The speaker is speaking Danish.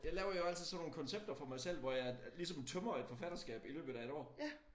Jeg laver jo altid sådan nogle koncepter for mig selv hvor jeg at ligesom tømmer et forfatterskab i løbet af et år